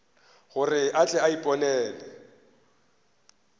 gore a tle a iponele